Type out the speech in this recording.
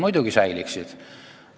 Muidugi säiliksid.